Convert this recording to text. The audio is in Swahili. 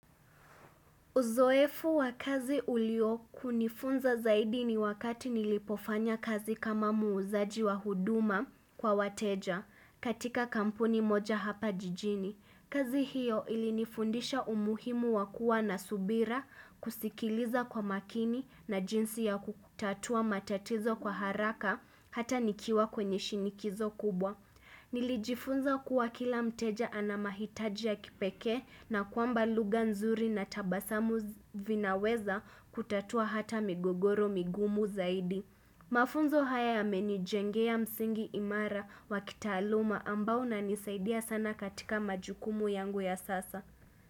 Uzoefu wa kazi ulio kunifunza zaidi ni wakati nilipofanya kazi kama muuzaji wa huduma kwa wateja katika kampuni moja hapa jijini. Kazi hiyo ilinifundisha umuhimu wa kuwa na subira kusikiliza kwa makini na jinsi ya kutatua matatizo kwa haraka hata nikiwa kwenye shinikizo kubwa. Nilijifunza kuwa kila mteja ana mahitaji ya kipekee na kwamba lugha nzuri na tabasamu vinaweza kutatua hata migogoro migumu zaidi. Mafunzo haya yamenijengea msingi imara wa kitaaluma ambao unanisaidia sana katika majukumu yangu ya sasa.